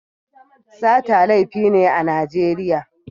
Sata laifi ne a Najeriya.